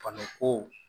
ko